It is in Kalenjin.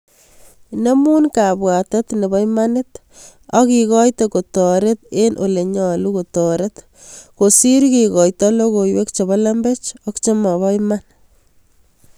Nemun kabwatet nebo imanit ak igoite katororet en ole nyalu katororet kosir kigaitat logoiywek chebo lemebech ak chemaba iman